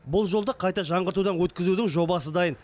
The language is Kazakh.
бұл жолды қайта жаңғыртудан өткізудің жобасы дайын